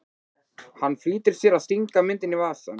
Hann flýtir sér að stinga myndinni í vasann.